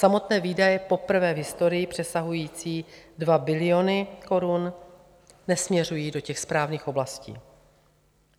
Samotné výdaje poprvé v historii přesahující 2 biliony korun nesměřují do těch správných oblastí.